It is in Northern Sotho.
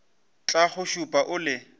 tla go šupa o le